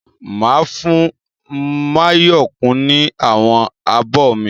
Máa fún Máyọ̀kún ní àwọn abọ mi.